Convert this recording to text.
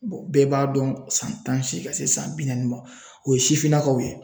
bɛɛ b'a dɔn san tan ni seegin ka se san bi naani ma o ye sifinnakaw ye.